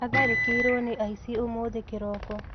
Atharĩkĩirwo nĩ aici ũmũthĩ kĩroko